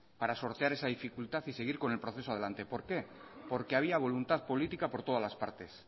para sortear esa dificultad y seguir con el proceso adelante por qué porque había voluntad política por todas las partes